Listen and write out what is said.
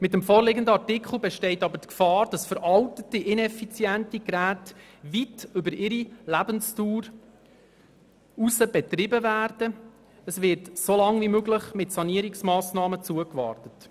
Mit dem vorliegenden Artikel besteht jedoch die Gefahr, dass veraltete und ineffiziente Geräte weit über ihre Lebensdauer hinaus betrieben werden, und es wird so lange wie möglich mit Sanierungsmassnahmen zugewartet.